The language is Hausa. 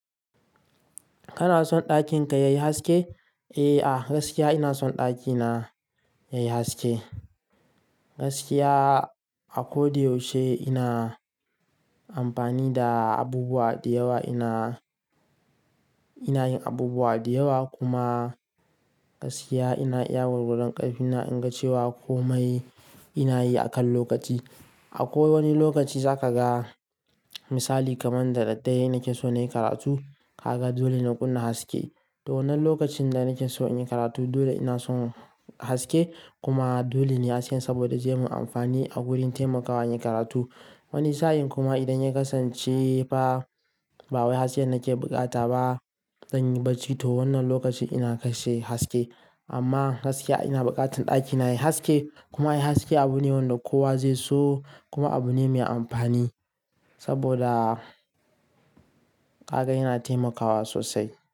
Kana son ɗakin ka yayi haske? Eh a gaskiya ina son ɗakina yayi haske. Gaskiya a ko da yaushe ina amfani da abubuwa da yawa, ina, ina yin abubuwa da yawa. Kuma gaskiya ina iya warware ƙarfi na in ga cewa komai ina yi a kan lokaci. A ko wani lokaci za ka ga misali kamar da daddare nake so na yi karatu. Kaga dole na kunna haske. To wannan lokacin da nake so in yi karatu dole ina so haske. Kuma dole ne hasken saboda zai mun amfani a wurin taimakawa yin karatu. Wani sa'in kuma idan ya kasance ba wai hasken nake buƙata ba, zan yi bacci. To wannan lokacin ina kashe haske. Amma gaskiya ina buƙatar ɗakina yayi haske kuma yayi haske abu ne wanda kowa zai so kuma abu ne mai amfani saboda kaga yana taimakawa sosai.